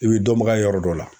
I bi dɔnbaga ye yɔrɔ dɔ la.